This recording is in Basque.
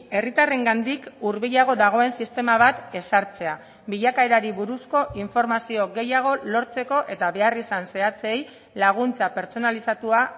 herritarrengandik hurbilago dagoen sistema bat ezartzea bilakaerari buruzko informazio gehiago lortzeko eta beharrizan zehatzei laguntza pertsonalizatua